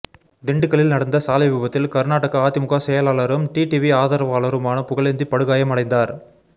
திண்டுக்கல்லில் நடந்த சாலை விபத்தில் கர்நாடக அதிமுக செயலாளரும் டிடிவி ஆதரவாளருமான புகழேந்தி படுகாயம் அடைந்தார்